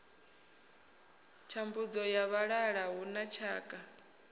thambudzo ya vhalala huna tshakha